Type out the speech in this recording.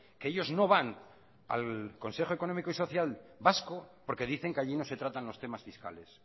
que ellos no van al consejo económico y social vasco porque dicen que allí no se tratan los temas fiscales